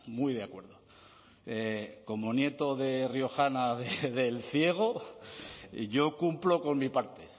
muy de acuerdo como nieto de riojana de elciego yo cumplo con mi parte